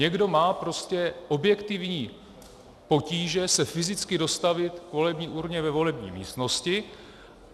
Někdo má prostě objektivní potíže se fyzicky dostavit k volební urně ve volební místnosti.